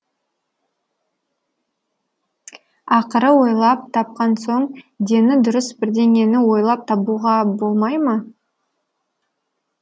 ақыры ойлап тапқан соң дені дұрыс бірдеңені ойлап табуға болмай ма